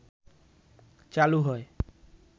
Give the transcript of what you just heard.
চালু হয়